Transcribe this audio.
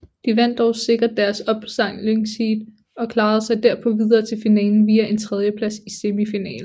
De vandt dog sikkert deres opsamlingsheat og klarede sig derpå videre til finalen via en tredjeplads i semifinalen